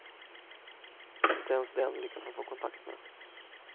Inte ens den lyckas han få kontakt med.